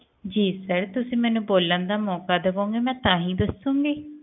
ਜੀ sir ਤੁਸੀਂ ਮੈਨੂੰ ਬੋਲਣ ਦਾ ਮੌਕਾ ਦਵੋਂਗੇ ਮੈਂ ਤਾਹਿ ਦਸਸੁਣਗੀ